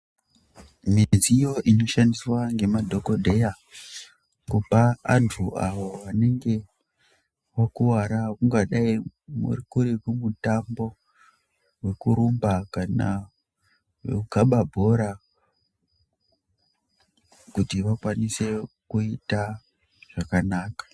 Midziyo inoshandiswa ngemadhogodheya kupa antu avo anenge akuvara kungadayi kuri kumutambo wekurumba kana wekukaba bhora kuti vakwanise kuita zvakanaka.